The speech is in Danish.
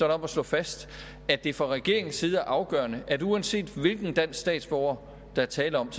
om at slå fast at det fra regeringens side er afgørende at uanset hvilken dansk statsborger der er tale om